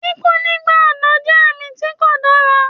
Kíkú nígbà ọ̀dọ́ jẹ́ àmì tí kò dára